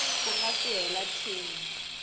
ku nga si hela tin